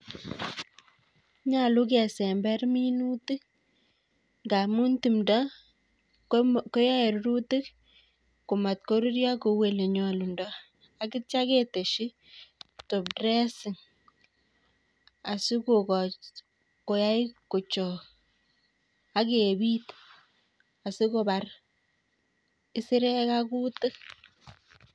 Nyolu kesember minutik ngaamun tumdo koyae rirutik komach koruryo kou olenyolundoi akitcha ketesyi top dressing asikokoch koyai kochook, akebit sikonbar kisirekk ak kutik.